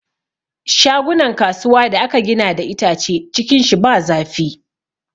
Shagunan kasuwa da aka gina da itace, cikin shi ba zafi.